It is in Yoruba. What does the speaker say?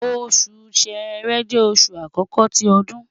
osu Ṣẹrẹ jẹ oṣu akọkọ ti ọdun